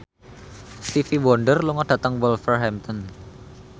Stevie Wonder lunga dhateng Wolverhampton